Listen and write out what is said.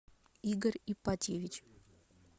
игорь ипатьевич